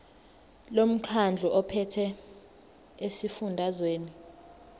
lomkhandlu ophethe esifundazweni